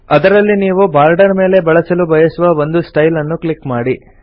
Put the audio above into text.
ಅದರಲ್ಲಿ ನೀವು ಬಾರ್ಡರ್ ಮೇಲೆ ಬಳಸಲು ಬಯಸುವ ಒಂದು ಸ್ಟೈಲ್ ನ್ನು ಕ್ಲಿಕ್ ಮಾಡಿ